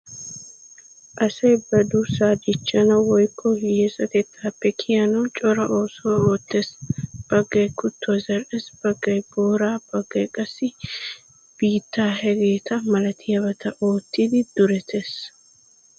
Asay ba duussaa dichchanawu woykko hiyesatettaappe kiyanawu cora oosuwa oottees. Baggay kuttuwa zal"ees, baggay booraa, baggay qassi biittaa hegeeta malatiyabaa oottidi duretees.